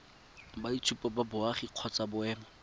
boitshupo ba boagi kgotsa boemo